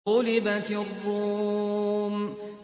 غُلِبَتِ الرُّومُ